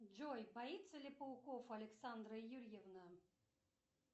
джой боится ли пауков александра юрьевна